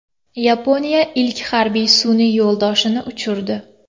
Yaponiya ilk harbiy sun’iy yo‘ldoshini uchirdi.